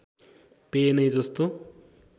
पेय नै जस्तो